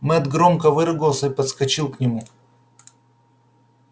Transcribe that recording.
мэтт громко выругался и подскочил к нему